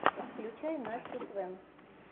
включай настю свэн